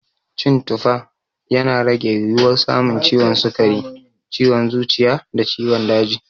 Cin tufa, yana rage yiwuwar samun ciwon sukari, ciwon zuciya da ciwon daji.